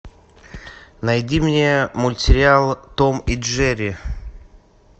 найди мне мультсериал том и джерри